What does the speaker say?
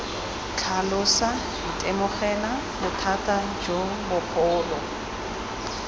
tlhalosa itemogela bothata jo bogolo